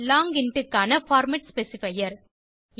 long int க்கான format specifier